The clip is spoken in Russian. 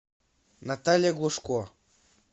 наталья глушко